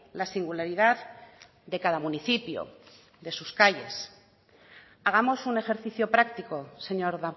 la singularidad de cada municipio de sus calles hagamos un ejercicio práctico señor